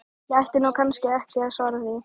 Ég ætti nú kannski ekki að svara því.